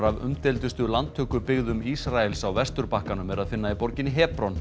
af umdeildustu landtökubyggðum Ísraels á Vesturbakkanum er að finna í borginni